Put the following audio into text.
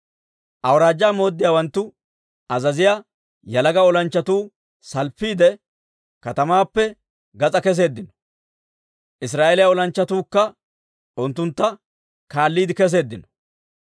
Awuraajjaa mooddiyaawanttu azaziyaa yalaga olanchchatuu salppiide, katamaappe gas'aa keseeddino; Israa'eeliyaa olanchchatuukka unttuntta kaalliide keseeddino.